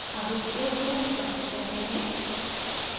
अब इस code को निष्पादित करते हैं